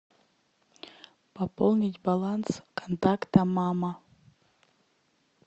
пополнить баланс контакта мама